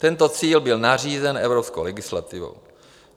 Tento cíl byl nařízen evropskou legislativou.